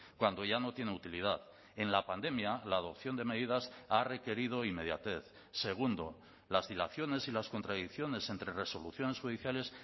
cuando ya no tiene utilidad en la pandemia la adopción de medidas ha requerido inmediatez segundo las dilaciones y las contradicciones entre resoluciones judiciales